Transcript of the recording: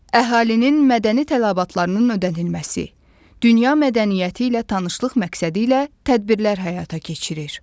Əhalinin mədəni tələbatlarının ödənilməsi, dünya mədəniyyəti ilə tanışlıq məqsədi ilə tədbirlər həyata keçirir.